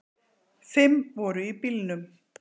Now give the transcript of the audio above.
Fimm voru í bílnum